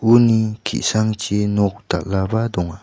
uni ki·sangchi nok dal·aba donga.